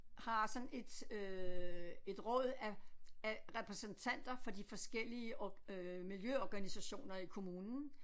Har sådan et øh et råd af af repræsentanter fra de forskellige øh miljøorganisationer i kommunen